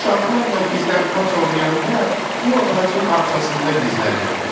Uşaqlarla gizlənpaç oynayanda bu ağacın arxasında gizlənirdim.